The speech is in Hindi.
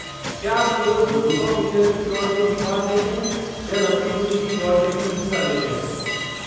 क्या आप केवल दो सौ मीटर की दौड़ में ही भाग लेते हैं या लंबी दूरी की दौड़ में भी हिस्सा लेते हैं?